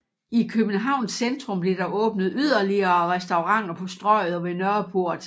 I Københavns centrum blev der åbnet yderligere restauranter på Strøget og ved Nørreport